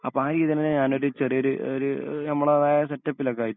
അപ്പൊ ആ രീതന്നെ ഞാനൊരു ചെറിയൊരു ഒര് ഞമ്മടേതായ സെറ്റപ്പിലൊക്കെ ആയിട്ട്